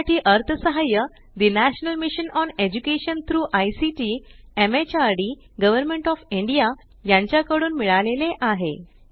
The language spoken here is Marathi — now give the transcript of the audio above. यासाठी अर्थसहाय्य ठे national mission on education through ICT MHRD government of India यांच्या कडून मिळाले आहे